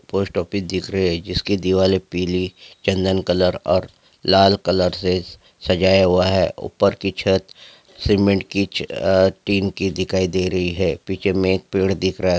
Post office दिख रहा है जिसकी दिवाले पीली चंदन कलर और लाल कलर से स-सजाया हुआ है ऊपर की छत सीमेंट की छ अ टीन की दिखाई दे रही है पीछे में एक पेड़ दिख रहा है।